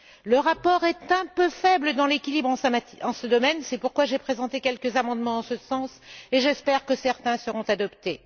Le rapport est un peu faible dans l'équilibre en ce domaine, c'est pourquoi j'ai présenté quelques amendements en ce sens, et j'espère que certains seront adoptés.